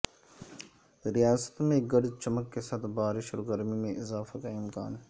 ریاست میں گرج چمک کے ساتھ بارش اور گرمی میں اضافہ کا امکان